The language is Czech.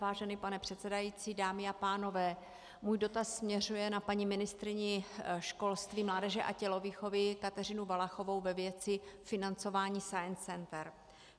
Vážený pane předsedající, dámy a pánové, můj dotaz směřuje na paní ministryni školství, mládeže a tělovýchovy Kateřinu Valachovou ve věci financování science center.